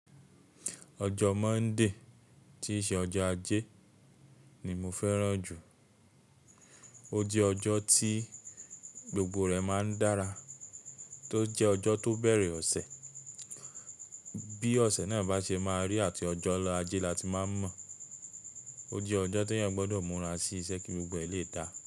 Ojo Monday ti ṣe ojo Aje ni mo féràn jù. O jẹ́ ọjọ́ tí gbogbo rẹ̀ máa ń dára, tó jẹ́ ọjọ́ tó bẹ̀rẹ̀ ọ̀sẹ̀. Bí ọ̀sẹ̀ náà bá ṣe máa rí àti ọjọ́ ajé la ti máa n mọ̀. O jẹ́ ọjọ́ tí èèyàn gbọ́dọ̀ múra sí iṣẹ́ kí gbogbo ẹ lè dáa.